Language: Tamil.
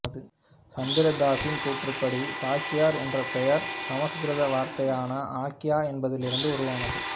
சந்திர தாசின் கூற்றுப்படி சாக்கியர் என்ற பெயர் சமசுகிருத வார்த்தையான ஆக்யா என்பதிலிருந்து உருவானது